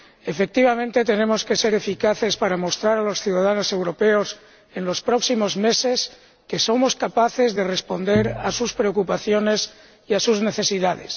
Efectivamente, tenemos que ser eficaces para mostrar a los ciudadanos europeos, en los próximos meses, que somos capaces de responder a sus preocupaciones y a sus necesidades.